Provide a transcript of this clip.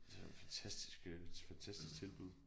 Det er jo et fantastisk øh et fantastisk tilbud